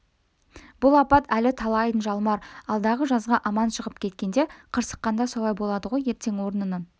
бұл апат әлі талайын жалмар алдағы жазға аман шығып кеткенде қырсыққанда солай болады ғой ертең орнынан